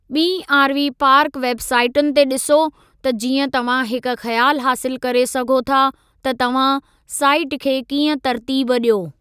ॿीं RV park web साईटुनि ते ॾिसो त जीअं तव्हां हिक ख़्यालु हासिलु करे सघो था त तव्हां साईट खे कीअं तरतीब ॾियो।